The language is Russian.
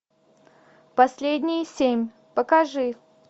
последние семь покажи